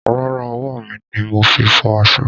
Rárá, ọwọ́ mi ni mo fi fọ aṣọ.